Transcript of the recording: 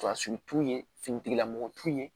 Fasusi t'u ye finitigilamɔgɔ t'u ye